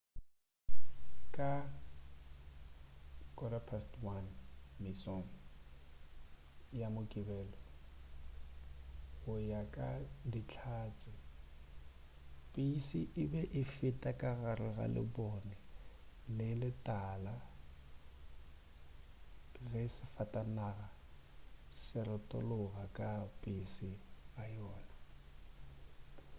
ka 1:15 mesong ya mokibelo go ya ka dihlatse pese e be e feta ka gare ga lebone le le tala ge safatanaga e retologa ka pele ga yona